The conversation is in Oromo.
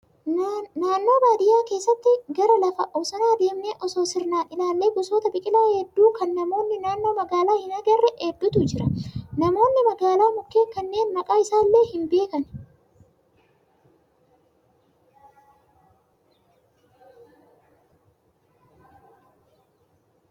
Naannoo baadiyyaa keessatti gara lafa bosonaa deemnee osoo sirnaan ilaallee gosoota biqilaa hedduu kan namoonni naannoo magaalaa hin agarre hedduutu jira. Namoonni magaalaa mukkeen kanneen maqaa isaa illee hin beekan